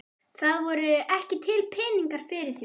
Það voru ekki til peningar fyrir því.